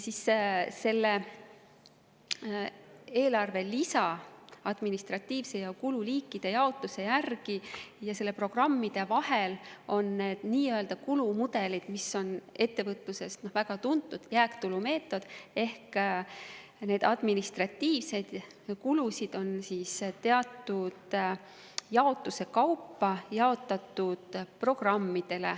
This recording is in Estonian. Selle eelarve lisa, mis on tehtud administratiivsel viisil ja kululiikide jaotuse järgi, ning programmide vahel on need nii-öelda kulumudelid, mis tähendab ettevõtluses väga tuntud jääktulumeetodit, ehk neid administratiivseid kulusid on teatud jaotuse kaupa jaotatud programmide peale.